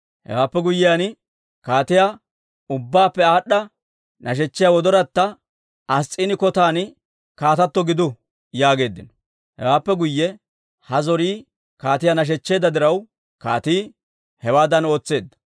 Hewaappe guyyiyaan, kaatiyaa ubbaappe aad'd'a nashechiyaa gellayatta Ass's'iini kotan kaatato gidu» yaageeddino. Hewaappe guyye ha zorii kaatiyaa nashechcheedda diraw, kaatii hewaadan ootseedda.